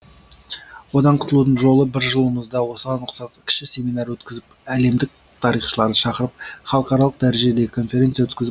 одан құтылудың жолы бір жылымызды осыған ұқсатып кіші семинар өткізіп әлемдік тарихшыларды шақырып халықаралық дәрежедегі конференция өткізіп